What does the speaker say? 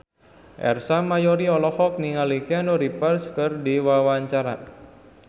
Ersa Mayori olohok ningali Keanu Reeves keur diwawancara